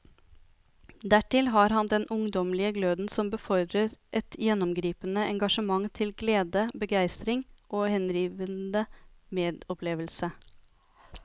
Dertil har han den ungdommelige gløden som befordrer et gjennomgripende engasjement til glede, begeistring og henrivende medopplevelse.